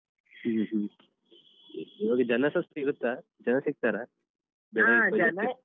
ಹ್ಮ ಹ್ಮ ಈವಾಗ ಜನ ಸಹ ಸಿಗುತ್ತ ಜನ ಸಿಗ್ತಾರಾ